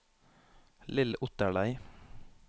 Lill Otterlei